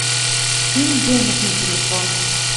скинь денег на телефон